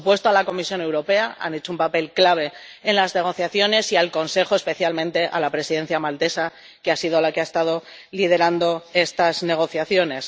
Por supuesto, a la Comisión Europea —ha hecho un papel clave en las negociaciones— y al Consejo —especialmente a la Presidencia maltesa, que ha sido la que ha estado liderando estas negociaciones—